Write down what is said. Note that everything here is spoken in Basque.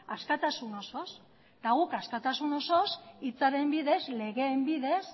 askatasun osoz eta guk askatasun osoz hitzaren bidez legeen bidez